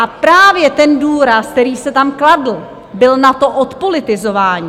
A právě ten důraz, který se tam kladl, byl na to odpolitizování.